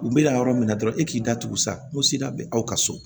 U bɛ na yɔrɔ min na dɔrɔn e k'i da tu sa bɛ aw ka so